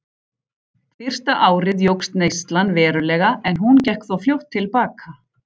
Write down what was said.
Fyrsta árið jókst neyslan verulega en hún gekk þó fljótt til baka.